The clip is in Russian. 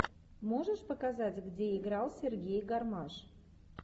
можешь показать где играл сергей гармаш